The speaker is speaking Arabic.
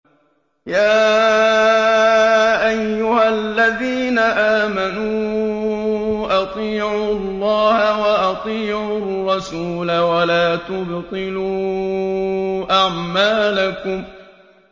۞ يَا أَيُّهَا الَّذِينَ آمَنُوا أَطِيعُوا اللَّهَ وَأَطِيعُوا الرَّسُولَ وَلَا تُبْطِلُوا أَعْمَالَكُمْ